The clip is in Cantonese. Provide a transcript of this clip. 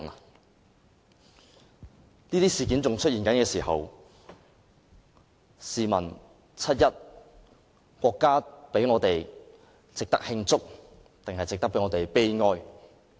當這些事件仍在出現的時候，試問七一是值得慶祝抑或值得悲哀？